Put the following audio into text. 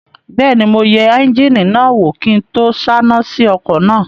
Bẹ́ẹ̀ni, mo yẹ éúnjínì náà wò kí n tó sáná sí ọkọ̀ náà